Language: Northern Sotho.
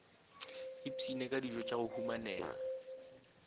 isphine ka dijotša go humanega